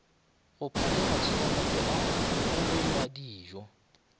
go pšhatla matsikangope a bobewadijo